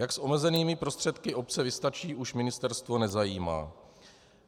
Jak s omezenými prostředky obce vystačí, už ministerstvo nezajímá.